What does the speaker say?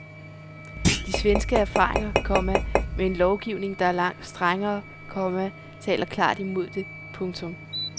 De svenske erfaringer, komma med en lovgivning der er langt strengere, komma taler klart imod det. punktum